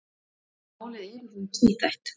Málið er í raun tvíþætt.